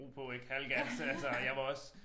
Ro på ik halv gas altså jeg var også